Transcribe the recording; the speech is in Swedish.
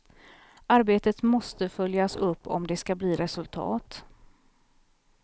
Arbetet måste följas upp om det skall bli resultat.